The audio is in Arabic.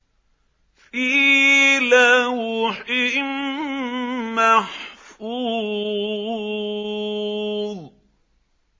فِي لَوْحٍ مَّحْفُوظٍ